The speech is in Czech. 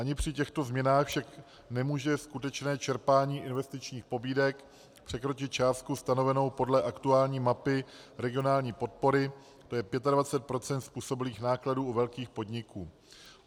Ani při těchto změnách však nemůže skutečné čerpání investičních pobídek překročit částku stanovenou podle aktuální mapy regionální podpory, to je 25 % způsobilých nákladů u velkých podniků.